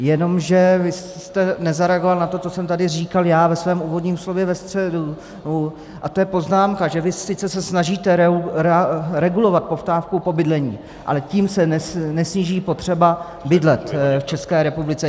Jenomže vy jste nezareagoval na to, co jsem tady říkal já ve svém úvodním slově ve středu, a to je poznámka, že vy sice se snažíte regulovat poptávku po bydlení, ale tím se nesníží potřeba bydlet v České republice.